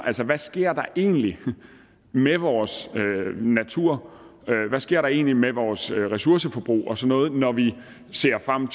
altså hvad sker der egentlig med vores natur hvad sker der egentlig med vores ressourceforbrug og sådan noget når vi ser frem